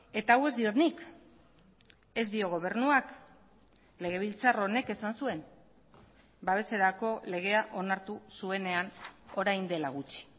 eta hau ez diot nik ez dio gobernuak legebiltzar honek esan zuen babeserako legea onartu zuenean orain dela gutxi